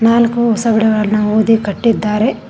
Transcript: ನಾಲ್ಕು ಹೊಸ ಗಿಡಗಳನ್ನು ಊದಿ ಕಟ್ಟಿದ್ದಾರೆ.